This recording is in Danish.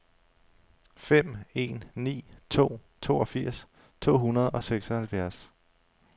fem en ni to toogfirs to hundrede og seksoghalvfjerds